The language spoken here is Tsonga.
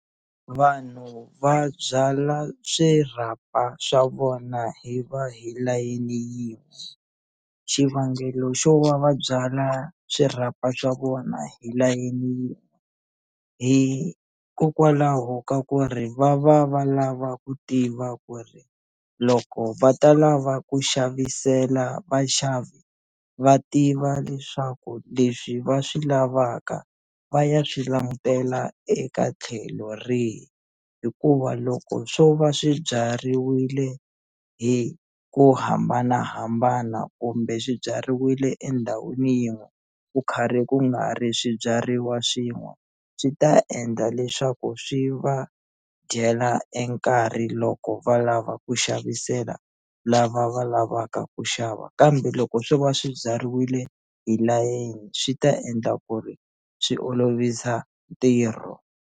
Vanhu va byala swirhapa swa vona hi va hi layeni xivangelo xo va va byala swirhapa swa vona hi layeni hikokwalaho ka ku ri va va va lava ku tiva ku ri loko va ta lava ku xavisela vaxavi va tiva leswaku leswi va swi lavaka va ya swi langutela eka tlhelo rihi hikuva loko swo va swi byariwile hi ku hambanahambana kumbe swi byariwile endhawini yin'we ku karhi ku nga ri swibyariwa swin'we swi ta endla leswaku swi va dyela e nkarhi loko va lava ku xavisela lava va lavaka ku xava kambe loko swo va swi byariwile hi layeni swi ta endla ku ri swi olovisa ntirho.